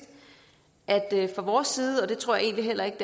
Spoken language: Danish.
at det fra vores side og det tror jeg heller ikke